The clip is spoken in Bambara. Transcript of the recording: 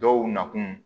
Dɔw nakun